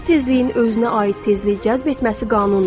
Hər tezliyin özünə aid tezliyi cəzb etməsi qanundur.